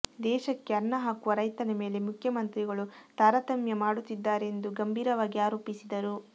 ದೇಶಕ್ಕೆ ಅನ್ನ ಹಾಕುವ ರೈತನ ಮೇಲೆ ಮುಖ್ಯಮಂತ್ರಿಗಳು ತಾರತಮ್ಯ ಮಾಡುತ್ತಿದ್ದಾರೆಂದು ಗಂಭೀರವಾಗಿ ಆರೋಪಿಸಿದರು